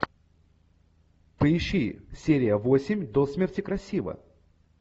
поищи серия восемь до смерти красива